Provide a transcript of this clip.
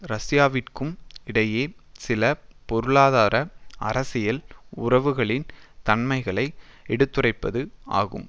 ரஷ்யாவிற்கும் இடையே சில பொருளாதார அரசியல் உறவுகளின் தன்மைகளை எடுத்துரைப்பது ஆகும்